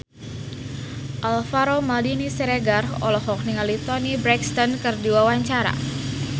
Alvaro Maldini Siregar olohok ningali Toni Brexton keur diwawancara